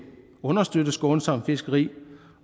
understøtte et skånsomt fiskeri